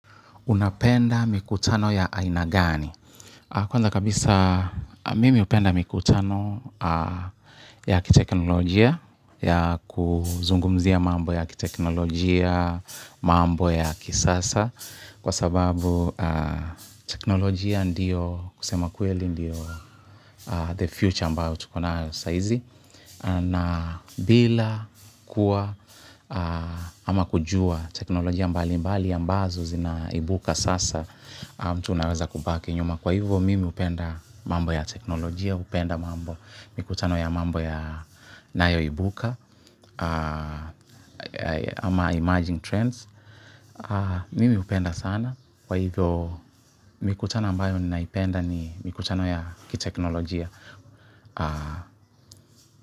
Unapenda mikutano ya aina gani? Kwanza kabisa mimi upenda mikutano ya kiteknolojia, ya kuzungumzia mambo ya kiteknolojia, mambo ya kisasa, kwa sababu teknolojia ndiyo kusema kweli ndiyo the future ambao tuko nayo saizi. Na bila kuwa ama kujua teknolojia mbali mbali ambazo zinaibuka sasa mtu unaweza kubaki nyuma kwa hivyo mimi upenda mambo ya teknolojia, hupenda mambo mikutano ya mambo ya inayo ibuka ama emerging trends, mimi hupenda sana kwa hivyo mikutano ambayo naipenda ni mikutano ya kiteknolojia.